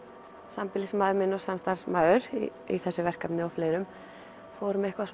sambýlismaður minn og samstarfsmaður í þessu verkefni og fleirum vorum eitthvað